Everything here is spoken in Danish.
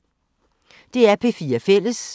DR P4 Fælles